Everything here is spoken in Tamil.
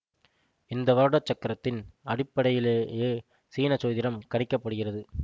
இந்த வருட சக்கரத்தின் அடிப்படையிலேயே சீன சோதிடம் கணிக்க படுகிறது